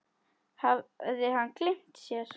Hafði hann gleymt sér?